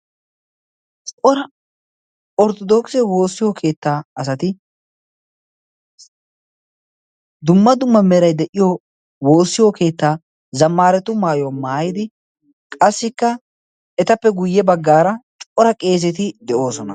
spora orttodookise woossiyo keettaa asati dumma dumma merai de7iyo woossiyo keettaa zamaaratu maayuwa maayidi qassikka etappe guyye baggaara cora qeezeti de7oosona